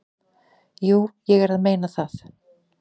"""Jú, ég er að meina það."""